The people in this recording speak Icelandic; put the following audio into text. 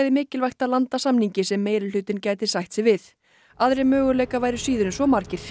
mikilvægt að landa samningi sem meirihlutinn gæti sætt sig við aðrir möguleikar væru síður en svo margir